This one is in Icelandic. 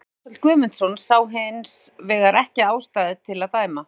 Guðmundur Ársæll Guðmundsson sá hins vegar ekki ástæðu til að dæma.